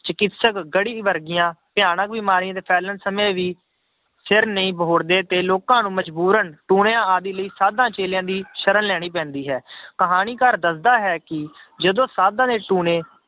ਚਕਿਤਸਕ ਗੜੀ ਵਰਗੀਆਂ ਭਿਆਨਕ ਬਿਮਾਰੀਆਂ ਦੇ ਫੈਲਣ ਸਮੇਂ ਵੀ ਸਿਰ ਨਹੀਂ ਬਹੁੜਦੇ ਤੇ ਲੋਕਾਂ ਨੂੰ ਮਜ਼ਬੂਰਨ ਟੂਣਿਆਂ ਆਦਿ ਲਈ ਸਾਧਾਂ ਚੇਲਿਆਂ ਦੀ ਸਰਣ ਲੈਣੀ ਪੈਂਦੀ ਹੈ ਕਹਾਣੀਕਾਰ ਦੱਸਦਾ ਹੈ ਕਿ ਜਦੋਂ ਸਾਧਾਂ ਦੇ ਟੂਣੇ